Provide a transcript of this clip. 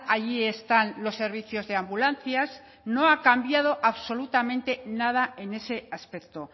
allí están los servicios de ambulancias no ha cambiado absolutamente nada en ese aspecto